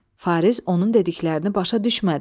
Fariz onun dediklərini başa düşmədi.